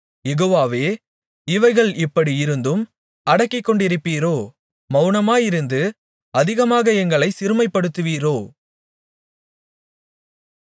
யெகோவாவே இவைகள் இப்படியிருந்தும் அடக்கிக்கொண்டிருப்பீரோ மவுனமாயிருந்து அதிகமாக எங்களைச் சிறுமைப்படுத்துவீரோ